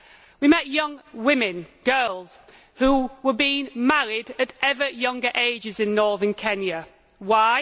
We met young women girls who were being married at ever younger ages in northern Kenya. Why?